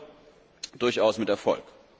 Dann jedoch durchaus mit Erfolg!